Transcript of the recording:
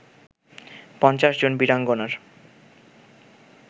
৫০ জন বীরাঙ্গনার